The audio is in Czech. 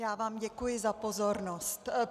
Já vám děkuji za pozornost.